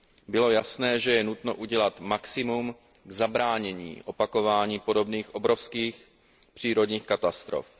Bylo jasné, že je nutno udělat maximum k zabránění opakování podobných obrovských přírodních katastrof.